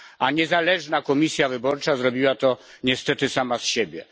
A niezależna Komisja Wyborcza zrobiła to niestety sama z siebie.